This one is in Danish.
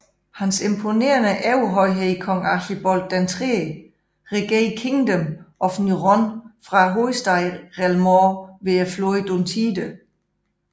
Hans Imponerende Overhøjhed Kong Archibold III regerer Kingdom of Nyrond fra hovedstaden Rel Mord ved floden Duntide